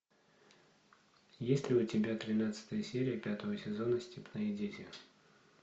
есть ли у тебя тринадцатая серия пятого сезона степные дети